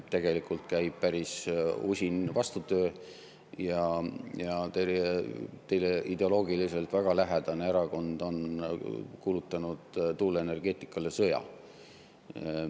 Tegelikult käib päris usin vastutöö ja teile ideoloogiliselt väga lähedane erakond on kuulutanud tuuleenergeetikale sõja.